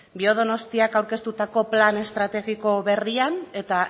biodonostia aurkeztutako plana estrategiko berrian eta